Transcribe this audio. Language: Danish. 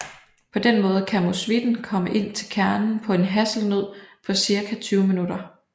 På denne måde kan musvitten komme ind til kernen på en hasselnød på cirka 20 minutter